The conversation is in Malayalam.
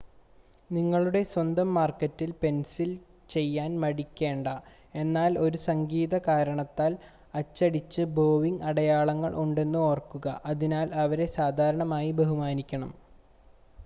നിങ്ങളുടെ സ്വന്തം മാർക്കിൽ പെൻസിൽ ചെയ്യാൻ മടിക്കേണ്ട എന്നാൽ ഒരു സംഗീത കാരണത്താൽ അച്ചടിച്ച ബോവിംഗ് അടയാളങ്ങൾ ഉണ്ടെന്ന് ഓർക്കുക അതിനാൽ അവരെ സാധാരണയായി ബഹുമാനിക്കണം